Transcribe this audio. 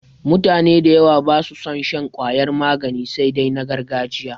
Mutane da yawa ba su son shan ƙwayar magani sai dai na gargajiya.